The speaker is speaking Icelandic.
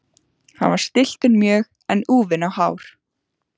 Hann var stilltur mjög en úfinn á hár.